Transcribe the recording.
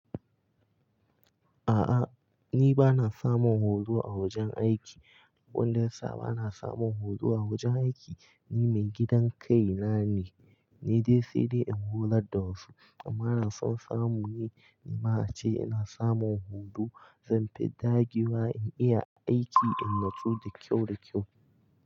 A'a ni ba na samun horo a wajen aiki. Abun da ya sa ba na samun horo a wajen aiki, ni mai gidan kai na ne, ni dai sai dai in horar da wasu. Amma da son samu ne, ni ma ace ina samun horo, zan fi dagewa in iya aiki, in natsu da kyau da kyau.